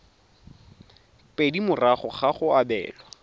pedi morago ga go abelwa